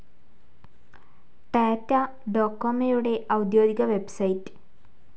ടാറ്റ ഡോകൊമോയുടെ ഔദ്യോഗിക വെബ്സൈറ്റ്.